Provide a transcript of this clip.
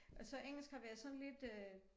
Og så engelsk har været lidt sådan øh